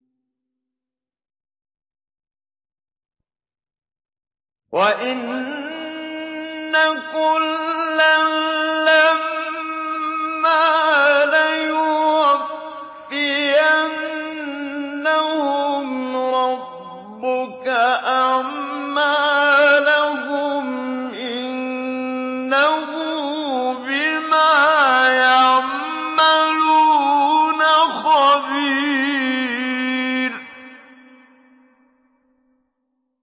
وَإِنَّ كُلًّا لَّمَّا لَيُوَفِّيَنَّهُمْ رَبُّكَ أَعْمَالَهُمْ ۚ إِنَّهُ بِمَا يَعْمَلُونَ خَبِيرٌ